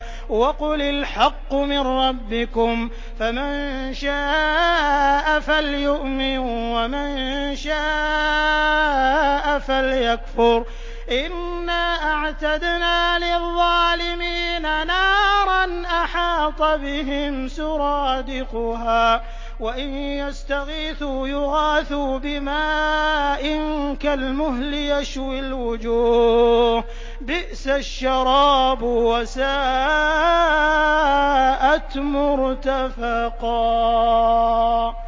وَقُلِ الْحَقُّ مِن رَّبِّكُمْ ۖ فَمَن شَاءَ فَلْيُؤْمِن وَمَن شَاءَ فَلْيَكْفُرْ ۚ إِنَّا أَعْتَدْنَا لِلظَّالِمِينَ نَارًا أَحَاطَ بِهِمْ سُرَادِقُهَا ۚ وَإِن يَسْتَغِيثُوا يُغَاثُوا بِمَاءٍ كَالْمُهْلِ يَشْوِي الْوُجُوهَ ۚ بِئْسَ الشَّرَابُ وَسَاءَتْ مُرْتَفَقًا